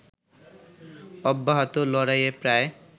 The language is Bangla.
অব্যাহত লড়াইয়ে প্রায়